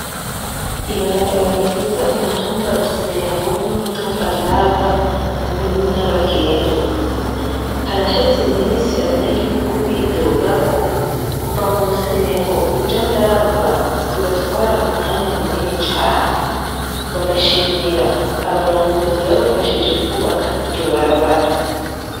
Ibarabara rihuza umutuma Rusengo n'umutumba Ndava ubu ni nyabagendwa. Haraheze iminsi abanyagihugu bidoga ko kuva mu Rusengo uja Ndava bibatwara umwanya munini cane. Bagashimira abarongozi babafashije kwubaka iryo barabara.